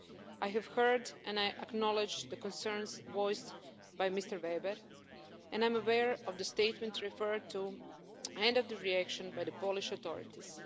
I have heard and I acknowledge the concerns voiced by Mr Weber, and I'm aware of the statement referred to and of the reaction by the Polish authorities.